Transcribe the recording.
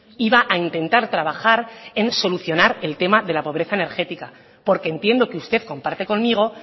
iba a intentar trabajar en solucionar el tema de la pobreza energética porque entiendo que usted comparte conmigo